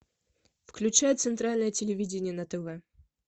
включай центральное телевидение на тв